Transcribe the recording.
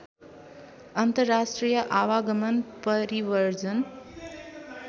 अन्तर्राष्ट्रिय आवागमन परिव्रजन